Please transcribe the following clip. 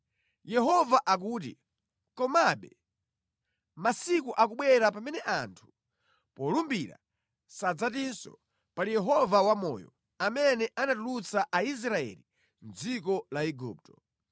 Yehova akuti, “Komabe masiku akubwera pamene anthu polumbira sadzatinso, ‘Pali Yehova wamoyo, amene anatulutsa Aisraeli mʼdziko la Igupto,’